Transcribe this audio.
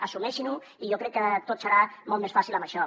assumeixin ho i jo crec que tot serà molt més fàcil amb això